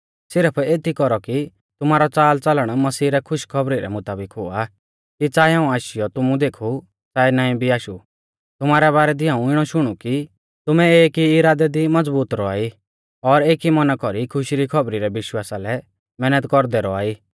सिरफ एती कौरौ कि तुमारौ चालचलण मसीह रै खुशखौबरी रै मुताबिक हुआ कि च़ाऐ हाऊं आशीयौ तुमु देखु च़ाऐ नाईं भी आशु तुमारै बारै दी हाऊं इणौ शुणु कि तुमै एक ई इरादै दी मज़बूत रौआ ई और एकी मौना कौरी खुशी री खौबरी रै विश्वासा लै मैहनत कौरदै रौआ ई